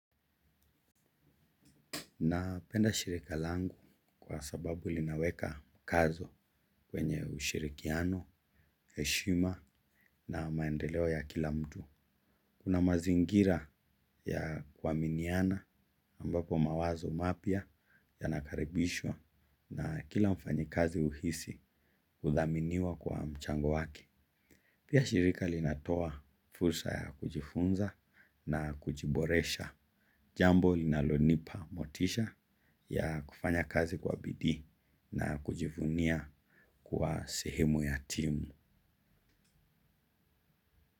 Napenda shirika langu kwa sababu linaweka, kazo kwenye ushirikiano, heshima na maendeleo ya kila mtu. Una mazingira ya kuwa miniana ambapo mawazo mapya yanakaribishwa na kila mfanyi kazi uhisi kuthaminiwa kwa mchango wake. Pia shirika linatoa fursa ya kujifunza na kujiboresha. Jambo linalonipa motisha ya kufanya kazi kwa bidii na kujivunia kwa sehemu ya timu.